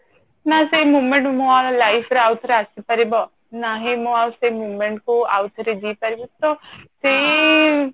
ନା ସେଇ moment ମୋ life ରେ ଆଉ ଥରେ ଆସିପାରିବ ନା ହିଁ ମୁଁ ଆଉ ସେ moment କୁ ଆଉ ଥରେ ପାରିବି ତ ସେଇ